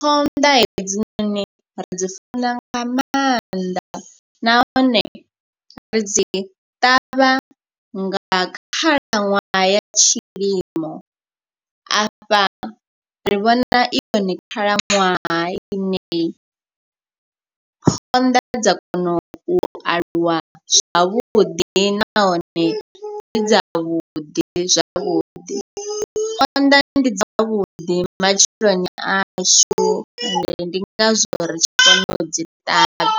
Phonḓa hedzinoni ri dzi funa nga maanḓa nahone ri dzi ṱavha nga khalaṅwaha ya tshilimo. Afha ri vhona i yone khalaṅwaha ine phonḓa dza kona u aluwa zwavhuḓi nahone dzi dzavhuḓi zwavhuḓi. Phonḓa ndi dzavhuḓi matshiloni ashu and ndi ngazwo ri tshi kona u dzi ṱavha.